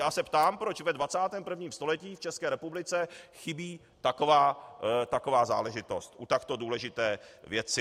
Já se ptám, proč ve 21. století v České republice chybí taková záležitost u takto důležité věci.